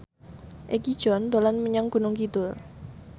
Egi John dolan menyang Gunung Kidul